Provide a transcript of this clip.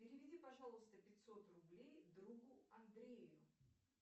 переведи пожалуйста пятьсот рублей другу андрею